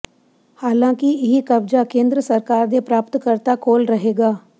ਹਾਲਾਂਕਿ ਇਹ ਕਬਜ਼ਾ ਕੇਂਦਰ ਸਰਕਾਰ ਦੇ ਪ੍ਰਾਪਤਕਰਤਾ ਕੋਲ ਰਹੇਗਾ